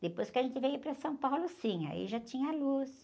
Depois que a gente veio para São Paulo, sim, aí já tinha luz.